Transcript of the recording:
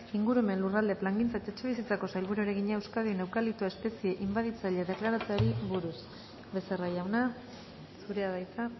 ingurumen lurralde plangintza eta etxebizitzako sailburuari egina euskadin eukaliptoa espezie inbaditzaile deklaratzeari buruz becerra jauna zurea da hitza